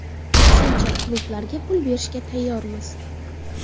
Aksincha, klublarga pul berishga tayyormiz.